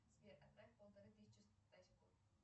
сбер отправь полторы тысячи стасику